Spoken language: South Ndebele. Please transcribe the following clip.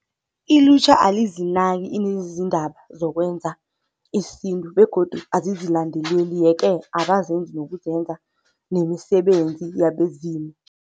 Ilutjha alizinaki iindaba zokwenza isintu begodu azizilandeleli, yeke abazenzi nokuzenza nemisebenzi yabezimu.